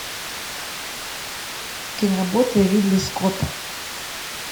киноработы ридли скотта